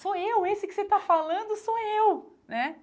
Sou eu, esse que você está falando sou eu né.